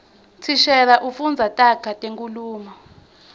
thishela ufundza taga tenkhulumo